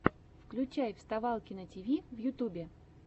включай вставалкина тиви в ютьюбе